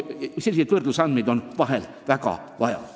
Selliseid võrdlusandmeid on väga vaja.